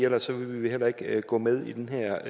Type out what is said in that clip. ellers ville vi heller ikke gå med i det her